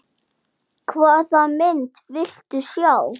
Þjáning og þögult óp!